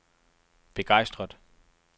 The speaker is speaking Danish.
begejstret